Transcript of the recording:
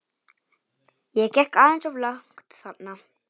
Ég gekk aðeins of langt þarna.